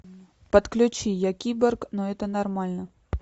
подключи я киборг но это нормально